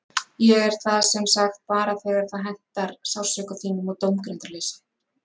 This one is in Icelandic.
Ég er það sem sagt bara þegar það hentar sársauka þínum og dómgreindarleysi.